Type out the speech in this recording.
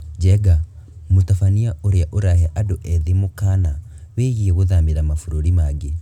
Njenga: mũtabania ũrĩa ũrahe andũ ethĩ mũkaana wĩgiĩ gũthamĩra mabũrũri mangĩ